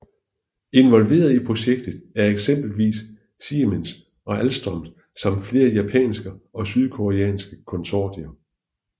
Involverede i projektet er eksempelvis Siemens og Alstom samt flere japanske og sydkoreanske konsortier